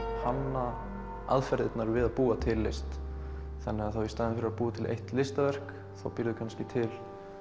hanna aðferðirnar við að búa til list í staðinn fyrir að búa til eitt listaverk þá býrðu kannski til